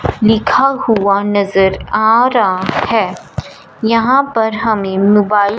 लिखा हुआ नजर आ रहा है यहां पर हमें मोबाइल --